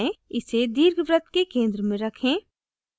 इसे दीर्घवृत्त के centre में रखें